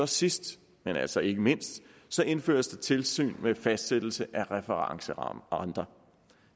sidst men altså ikke mindst indføres der tilsyn med fastsættelse af referencerenter